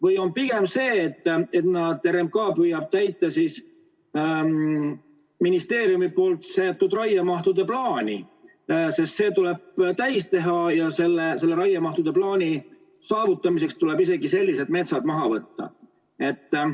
Või on pigem nii, et RMK püüab täita ministeeriumi seatud raiemahtude plaani, sest see tuleb täis saada ja selle raiemahtude plaani saavutamiseks tuleb isegi sellised metsad maha võtta?